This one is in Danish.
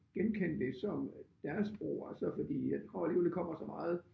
Genkende det som deres sprog altså fordi jeg tror alligevel det kommer så meget